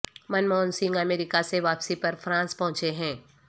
منموہن سنگھ امریکہ سے واپسی پر فرانس پہنچے ہیں